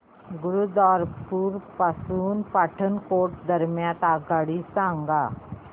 गुरुदासपुर पासून पठाणकोट दरम्यान आगगाडी सांगा